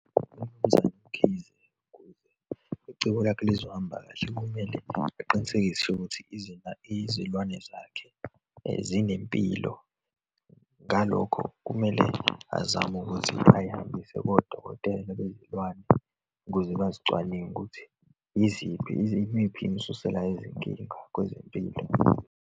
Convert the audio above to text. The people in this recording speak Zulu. UMnumzane uMkhize, kuze icebo lakhe lizohamba kahle, kumele aqinisekise ukuthi izilwane zakhe zinempilo. Ngalokho kumele azame ukuthi ayihambise kodokotela bezilwane ukuze bazicwaninge ukuthi yiziphi, imiphi imisusela yezinkinga kwezempilo.